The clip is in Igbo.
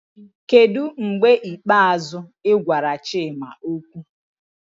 Kedu mgbe ikpeazụ ị gwara Chima okwu?